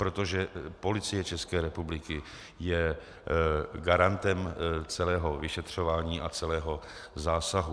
Protože Policie České republiky je garantem celého vyšetřování a celého zásahu.